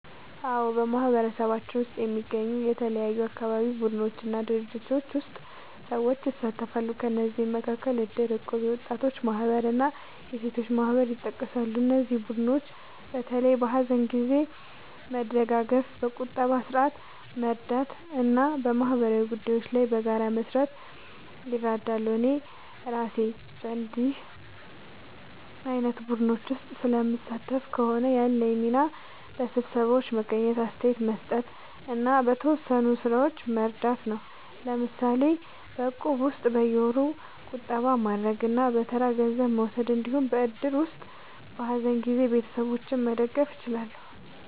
አዎ፣ በማህበረሰባችን ውስጥ የሚገኙ የተለያዩ አካባቢ ቡድኖች እና ድርጅቶች ውስጥ ሰዎች ይሳተፋሉ። ከእነዚህ መካከል እድር፣ እቁብ፣ የወጣቶች ማህበር እና የሴቶች ማህበር ይጠቀሳሉ። እነዚህ ቡድኖች በተለይ በሀዘን ጊዜ መደጋገፍ፣ በቁጠባ ስርዓት መርዳት እና በማህበራዊ ጉዳዮች ላይ በጋራ መስራት ይረዳሉ። እኔ እራሴ በእንዲህ ዓይነት ቡድኖች ውስጥ ስለምሳተፍ ከሆነ፣ ያለኝ ሚና በስብሰባዎች መገኘት፣ አስተያየት መስጠት እና በተወሰኑ ሥራዎች መርዳት ነው። ለምሳሌ በእቁብ ውስጥ በየወሩ ቁጠባ ማድረግ እና በተራ ገንዘብ መውሰድ እንዲሁም በእድር ውስጥ በሀዘን ጊዜ ቤተሰቦችን መደገፍ እችላለሁ።